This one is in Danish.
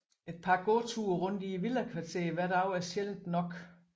Et par gåture rundt i villakvarteret hver dag er sjældent tilstrækkeligt